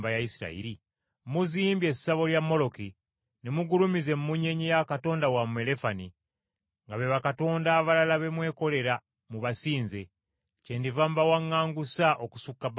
Muzimbye essabo lya Moloki, ne mugulumiza emmunyeenye ya katonda wammwe Lefani, nga be bakatonda abalala be mwekolera mubasinze. Kyendiva mbawaŋŋangusa’ okusukka Babulooni.